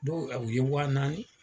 Dɔw a u ye wa naani.